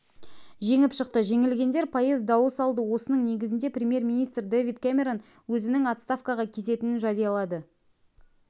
жеңіп шықты жеңілгендер пайыз дауыс алды осының негізінде премьер-министр дэвид кэмерон өзінің отставкаға кететінін жариялады